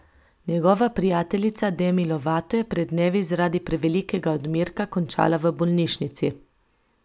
Njegova prijateljica Demi Lovato je pred dnevi zaradi prevelikega odmerka končala v bolnišnici.